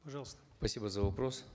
пожалуйста спасибо за вопрос